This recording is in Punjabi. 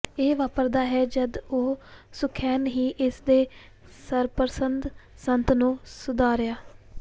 ਇਹ ਵਾਪਰਦਾ ਹੈ ਜਦ ਉਹ ਸੁਖੈਨ ਹੀ ਇਸ ਦੇ ਸਰਪ੍ਰਸਤ ਸੰਤ ਨੂੰ ਸੁਧਾਰਿਆ